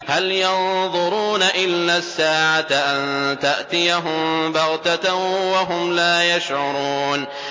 هَلْ يَنظُرُونَ إِلَّا السَّاعَةَ أَن تَأْتِيَهُم بَغْتَةً وَهُمْ لَا يَشْعُرُونَ